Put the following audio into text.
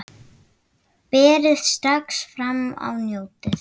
Berið strax fram og njótið!